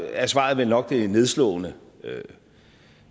er svaret vel nok nedslående